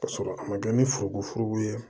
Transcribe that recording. Ka sɔrɔ a ma kɛ ni forokofuru ye